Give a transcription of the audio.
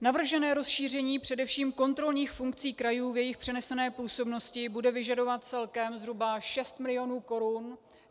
Navržené rozšíření především kontrolních funkcí krajů v jejich přenesené působnosti bude vyžadovat celkem zhruba 6 mil. korun.